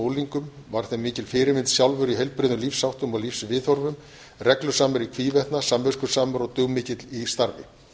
unglingum var þeim mikil fyrirmynd sjálfur í heilbrigðum lífsháttum og lífsviðhorfum reglusamur í hvívetna samviskusamur og dugmikill í starfi